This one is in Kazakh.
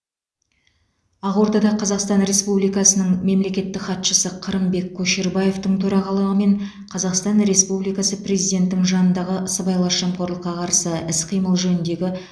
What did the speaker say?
ақордада қазақстан республикасының мемлекеттік хатшысы қырымбек көшербаевтың төрағалығымен қазақстан республикасы президентінің жанындағы сыбайлас жемқорлыққа қарсы іс қимыл жөніндегі